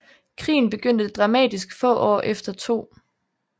Krigen begyndte dramatisk få år efter 2